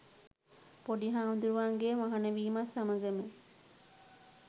පොඩි හාමුදුරුවන්ගේ මහණ වීමත් සමගම,